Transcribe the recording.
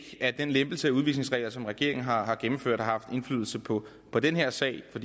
at den lempelse af udvisningsreglerne som regeringen har gennemført har haft indflydelse på på den her sag for